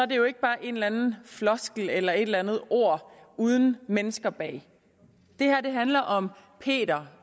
det jo ikke bare en eller anden floskel eller et eller andet ord uden mennesker bag det her handler om peter